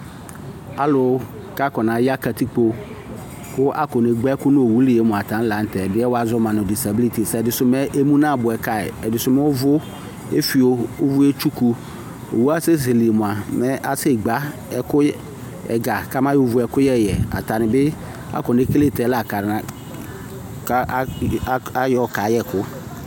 Alʋ k'aka na ya katikpo kʋ akɔ negbǝ ɛkʋ n'owuli yɛ mua, atani la n'tɛ, ɛdi yɛ wa zɔ ma nʋ disabilitis, ɛdisʋ me emu nabuɛ kayi, ɛdisʋ m'ʋvʋ efio, ʋvʋ etsuku Owu asezele mua mɛ asɛ gbǝ Ɛkʋyɛ, ɛga k'ama yɔ vu ɛkʋyɛ yɛ Atani akɔnekele tɛ la kana k ka ayɔ kayɛ ɛkʋ